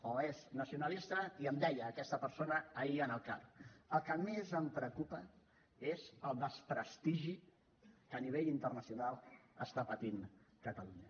o és nacionalista i em deia aquesta persona ahir en el car el que més em preocupa és el desprestigi que a nivell internacional pateix catalunya